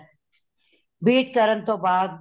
beat ਕਰਨ ਤੋਂ ਬਾਦ